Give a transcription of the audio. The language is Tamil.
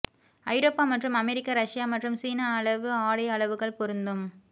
ஐரோப்பா மற்றும் அமெரிக்க ரஷ்யா மற்றும் சீனா அளவு ஆடை அளவுகள் பொருந்தும்